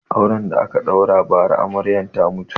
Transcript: Auren da aka ɗaura ba ra Amaryan ta mutu